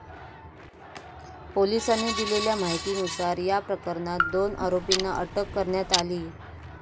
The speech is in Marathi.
पोलिसांनी दिलेल्या माहितीनुसार, या प्रकरणात दोन आरोपींना अटक करण्यात आलीय.